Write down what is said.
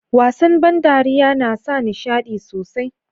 wasan ban dariya na sa nishadi sosai